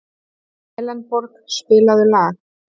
Elenborg, spilaðu lag.